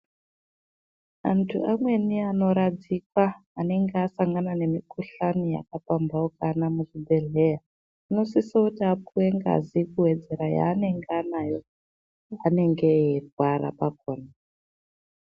Antu amweni anoradzikwa anenge asangana nemukuhlani yakapambaukana muzvibhehleya ,anosisa kuti apiwe ngazi kuwedzere yaanenge anayo anayo paanege eirwara pakona.